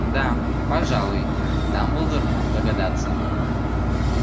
да пожалуй дамблдор мог догадаться